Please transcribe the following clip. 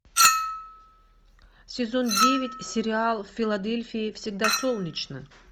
сезон девять сериал в филадельфии всегда солнечно